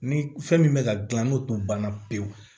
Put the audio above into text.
Ni fɛn min bɛ ka gilan n'o tun banna pewu